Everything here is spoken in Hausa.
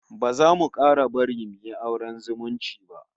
Ba za mu 'kara bari suyi auren zumunci ba